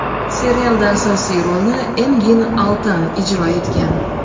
Serialda asosiy rolni Engin Altan ijro etgan.